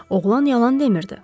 Oğlan yalan demirdi.